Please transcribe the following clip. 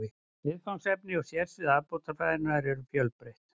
Viðfangsefni og sérsvið afbrotafræðinnar eru fjölbreytt.